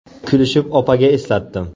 Kulishib opaga eslatdim.